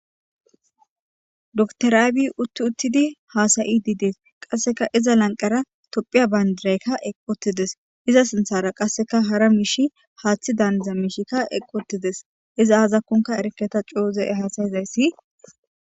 Doketer abiy utidi utidi hasayide dees.qaseka iza lanqera tophiya bandirayka eqi uttides iza sinthara qase hara miishi hatheda daaniz miahi eqi uttides izi azakon erike ta izi hasayizaysi